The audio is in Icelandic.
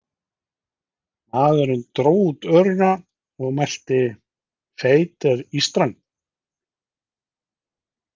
Maðurinn dró út örina og mælti: Feit er ístran.